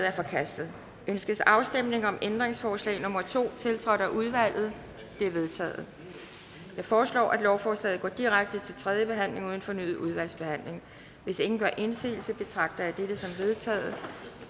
er forkastet ønskes afstemning om ændringsforslag nummer to tiltrådt af udvalget det er vedtaget jeg foreslår at lovforslaget går direkte til tredje behandling uden fornyet udvalgsbehandling hvis ingen gør indsigelse betragter jeg dette som vedtaget